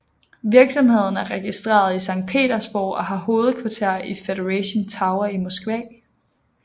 Virksomheden er registreret i Sankt Petersborg og har hovedkvarter i Federation Tower i Moskva